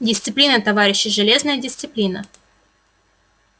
дисциплина товарищи железная дисциплина